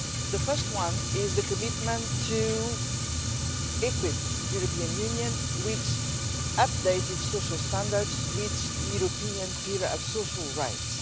The first one is the commitment to equip the European Union with updated social standards with the European Pillar of Social Rights.